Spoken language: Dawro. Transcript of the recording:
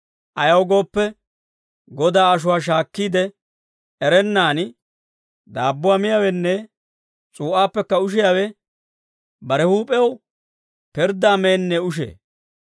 Ayaw gooppe, Godaa ashuwaa shaakkiide erennaan daabbuwaa miyaawenne s'uu'aappekka ushiyaawe bare huup'ewaa pirddaa meennee ushee.